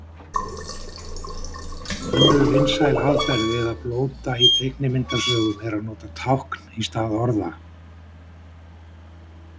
Önnur vinsæl aðferð til að blóta í teiknimyndasögum er að nota tákn í stað orða.